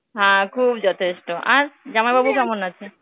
হ্যাঁ, খুব যথেষ্ঠ. আর, জামাইবাবু কেমন আছে?